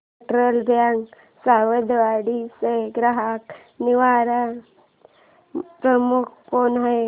federal Bank Sawantwadi चा ग्राहक निवारण प्रमुख कोण आहे